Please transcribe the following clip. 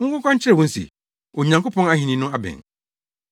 Monkɔka nkyerɛ wɔn se, ‘Onyankopɔn Ahenni no abɛn!’